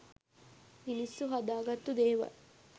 මිනිස්සු හදාගත්තු දේවල්.